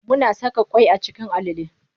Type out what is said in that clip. Muna saka ƙwai a cikin alale.